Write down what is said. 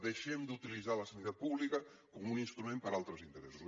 deixem d’utilitzar la sanitat pública com un instrument per a altres interessos